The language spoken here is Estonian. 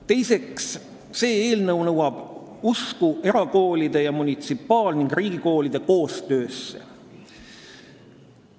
Teiseks, see eelnõu nõuab usku erakoolide ning munitsipaal- ja riigikoolide koostöösse.